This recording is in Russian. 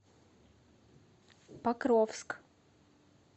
покровск